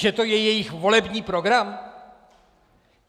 Že to je jejich volební program?